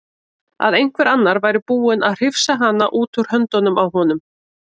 Að einhver annar væri búinn að hrifsa hana út úr höndunum á honum.